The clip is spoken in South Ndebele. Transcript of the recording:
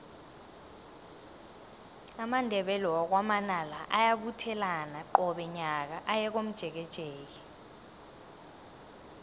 amandebele wakwa manala ayabuthelana qobe nyaka aye komjekejeke